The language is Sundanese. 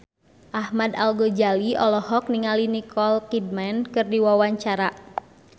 Ahmad Al-Ghazali olohok ningali Nicole Kidman keur diwawancara